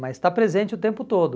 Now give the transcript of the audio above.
Mas está presente o tempo todo.